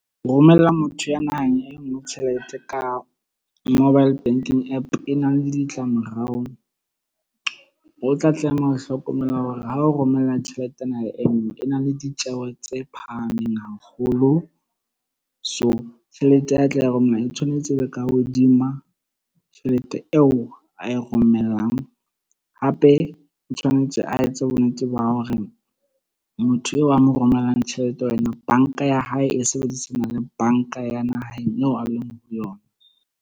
Ho romella motho ya naheng e nngwe tjhelete ka mobile banking app e na le ditlamorao. O tla tlameha ho hlokomela hore ha o romella tjhelete naheng e nngwe e na le ditjeho tse phahameng haholo. So, tjhelete a tla romela e tshwanetse e be ka hodima tjhelete eo a e romellang. Hape o tshwanetse a etse bonnete ba hore motho eo a mo romellang tjhelete ho yena, bank-a ya hae e sebedisana le bank-a ya naheng eo a leng ho yona.